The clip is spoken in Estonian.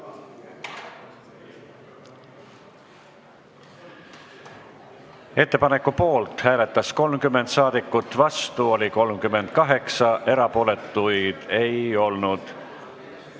Hääletustulemused Ettepaneku poolt hääletas 30 saadikut, vastu oli 38, erapooletuid ei olnud.